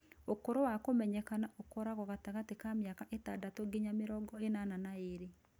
ũkũrũ wa kũmenyekana ũkoragwo gatagatĩ ka mĩaka ĩtandatũ nginya mĩrongo ĩnana na ĩrĩ